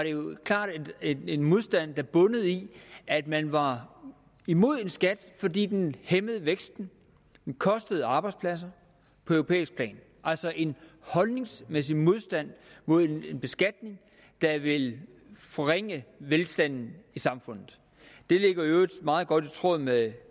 jo klart en modstand der bundede i at man var imod en skat fordi den hæmmede væksten den kostede arbejdspladser på europæisk plan altså en holdningsmæssig modstand mod en beskatning der vil forringe velstanden i samfundet det ligger i øvrigt meget godt i tråd med